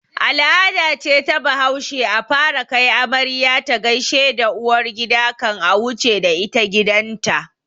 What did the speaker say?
Al'ada ce ta bahaushe a fara kai amarya ta gaishe da uwargida kan a wuce da ita gidan ta